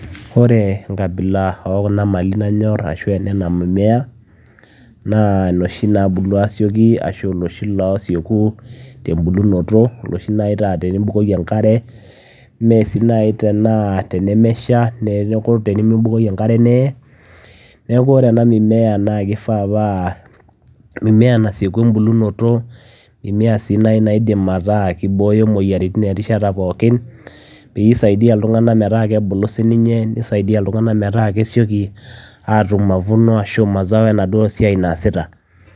Oree enkabila kuna mimea nanyorr naa noshii naabulu asiokii noshii naa tenimibukaki enkare neyee neeku kifaa paa kesiekuu embukunoto niboyoo sii imoyiaritin erishata pookin nisaidia ilntunganak metaa kebulu si ninye neiokii ilntunganak atum mazao